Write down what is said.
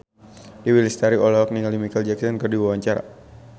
Dewi Lestari olohok ningali Micheal Jackson keur diwawancara